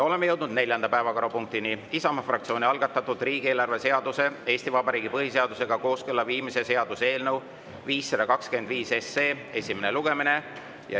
Oleme jõudnud neljanda päevakorrapunktini: Isamaa fraktsiooni algatatud riigieelarve seaduse Eesti Vabariigi põhiseadusega kooskõlla viimise seaduse eelnõu 525 esimene lugemine.